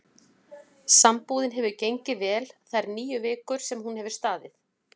Sambúðin hefur gengið vel þær níu vikur sem hún hefur staðið.